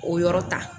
O yɔrɔ ta